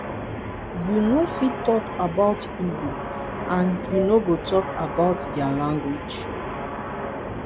you no fit talk about igbo and you no go talk about dia language.